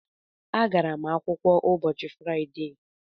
Agara m akwụkwọ ụbọchị Fraịde